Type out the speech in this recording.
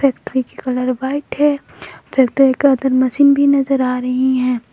Factory colour white है factory का अंदर मशीन भी नजर आ रही है।